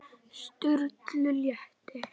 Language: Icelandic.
Sturlu létti.